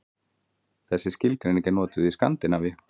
Þessi skilgreining er notuð í Skandinavíu.